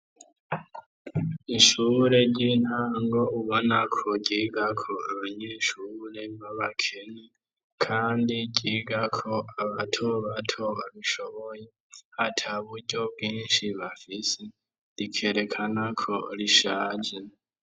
Ishure ry'intango ubona ko ryigako abanyeshure b'abakene kandi ryigako abatobato babishoboye, ataburyo bwinshi bafise rikerekana ko rishaje.